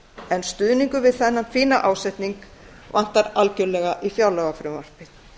en stuðningur við þennan fína ásetning vantar algerlega í fjárlagafrumvarpið